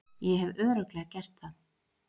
Ég hef Örugglega gert það.